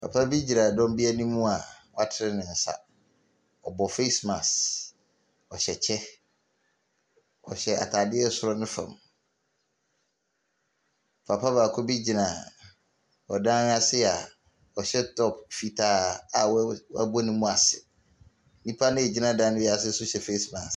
Papa bi gyina dɔm bi anim a watene ne nsa ɔbɔ face mask, ɔhyɛ kyɛ, ɔhyɛ ataare soro ne fam. Papa baako bi gyina ɔdan n’ase a wo wɔabɔ ne mu ase. Nnipa bi a ɛgyina dan ase nso hyɛ face mask.